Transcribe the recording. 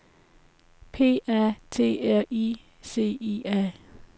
P A T R I C I A